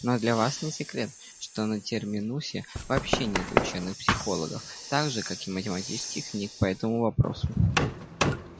но для вас не секрет что на терминусе вообще нет учёных психологов так же как и математических книг по этому вопросу